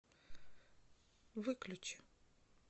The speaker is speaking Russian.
выключи